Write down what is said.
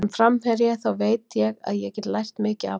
Sem framherji þá veit ég að ég get lært mikið af honum.